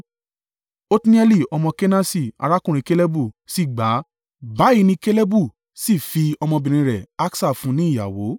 Otnieli ọmọ Kenasi, arákùnrin Kalebu, sì gbà á, báyìí ni Kalebu sì fi ọmọbìnrin rẹ̀ Aksa fún un ní ìyàwó.